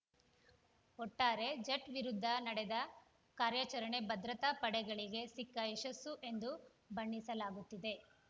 ಒಟ್ಟಾರೆ ಜಟ್‌ ವಿರುದ್ಧ ನಡೆದ ಕಾರ್ಯಾಚರಣೆ ಭದ್ರತಾ ಪಡೆಗಳಿಗೆ ಸಿಕ್ಕ ಯಶಸ್ಸು ಎಂದು ಬಣ್ಣಿಸಲಾಗುತ್ತಿದೆ